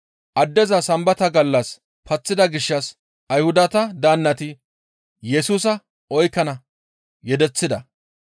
Addeza Sambata gallas paththida gishshas Ayhudata daannati Yesusa oykkana yedeththida.